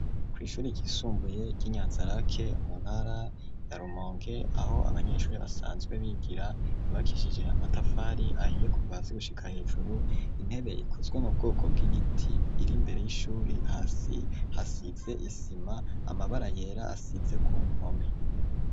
Ku ishuri ryisumbuye y'inyanzarake muntara ya rumonge aho abanyeshuri basanzwe bigira ryubakishije amatafari ahiye kuva hasi gushika hejuru , intebe ikozwe mu bwoko bw'igiti ,iri imbere yishuri, hasi hasize isima , amabara yera asize ku nkome.